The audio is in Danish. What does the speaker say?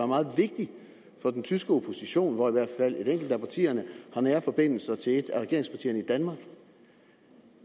meget vigtigt for den tyske opposition og hvor i hvert fald et enkelt af partierne har nære forbindelser til et af regeringspartierne i danmark